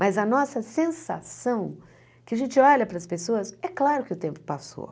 Mas a nossa sensação, que a gente olha para as pessoas, é claro que o tempo passou.